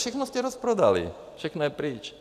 Všechno jste rozprodali, všechno je pryč.